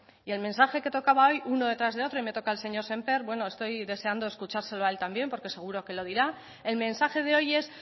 y el mensaje que tocaba hoy uno detrás de otro y me toca el señor sémper bueno estoy deseando escuchárselo a él también porque seguro que lo dirá el mensaje de hoy es